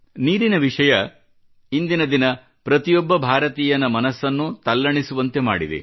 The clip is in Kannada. ನೀರಿನ ವಿಷಯ ಇಂದಿನ ದಿನ ಪ್ರತಿಯೊಬ್ಬ ಭಾರತೀಯರ ಮನಸ್ಸನ್ನು ತಲ್ಲಣಿಸುವಂತೆ ಮಾಡಿದೆ